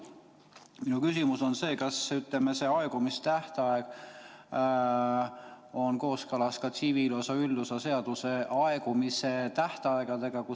Minu küsimus on järgmine: kas see aegumistähtaeg on kooskõlas ka tsiviilseadustiku üldosa seaduses sätestatud aegumistähtaegadega?